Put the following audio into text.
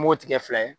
An b'o tigɛ fila ye